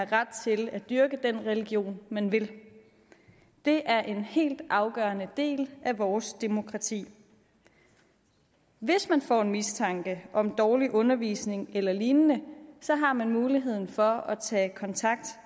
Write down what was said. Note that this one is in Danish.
ret til at dyrke den religion man vil det er en helt afgørende del af vores demokrati hvis man får en mistanke om dårlig undervisning eller lignende har man muligheden for at tage kontakt